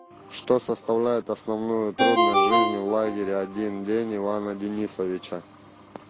что составляет основную трудность жизни в лагере один день ивана денисовича